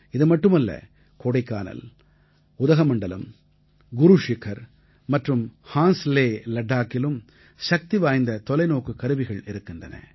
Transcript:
இதுமட்டுமல்ல கோடைக்கானல் உதகமண்டலம் குருஷிகர் மற்றும் ஹான்லே லட்டாக்கிலும் சக்திவாய்ந்த தொலைநோக்குக் கருவிகள் இருக்கின்றன